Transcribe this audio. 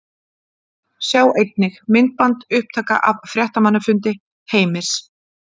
Sjá einnig: Myndband: Upptaka af fréttamannafundi Heimis